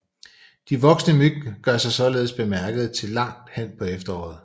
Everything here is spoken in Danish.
De voksne myg gør sig således bemærkede til langt hen på efteråret